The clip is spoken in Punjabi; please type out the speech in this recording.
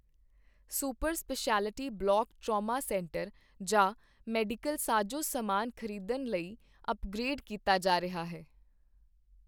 Super speciality block trauma centre ਜਾਂ ਮੈਡੀਕਲ ਸਾਜ਼ੋ ਸਮਾਨ ਖ਼ਰੀਦਣ ਲਈ ਅਪਗ੍ਰੇਡ ਕੀਤਾ ਜਾ ਰਿਹਾ ਹੈ।